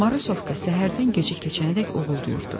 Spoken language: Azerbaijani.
Marısovka səhərdən gecə keçənədək uğuldayırdı.